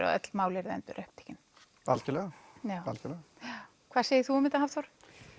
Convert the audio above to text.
að öll mál yrðu endurupptekin algjörlega hvað segir þú um þetta Hafþór